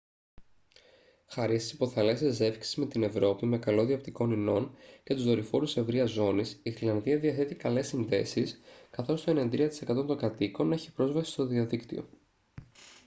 χάρη στις υποθαλάσσιες ζεύξεις με την ευρώπη με καλώδια οπτικών ινών και τους δορυφόρους ευρείας ζώνης η γροιλανδία διαθέτει καλές συνδέσεις καθώς το 93% των κατοίκων έχει πρόσβαση στο διαδίκτυο